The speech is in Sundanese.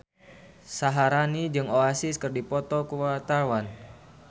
Syaharani jeung Oasis keur dipoto ku wartawan